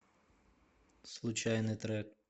случайный трек